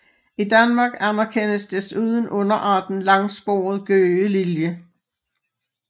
I Danmark anerkendes desuden underarten langsporet gøgelilje